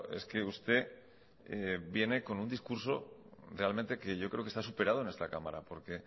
es que usted viene con un discurso realmente que yo creo que está superado en esta cámara porque